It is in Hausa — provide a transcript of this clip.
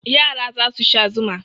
Yara za su sha zuma.